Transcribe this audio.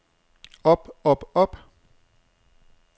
op op op